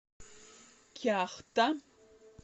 кяхта